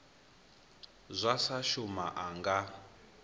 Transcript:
zwa sa shuma a nga